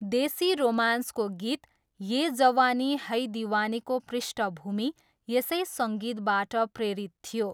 देशी रोमान्सको गीत ये जवानी है दिवानीको पृष्ठभूमि यसै सङ्गीतबाट प्रेरित थियो।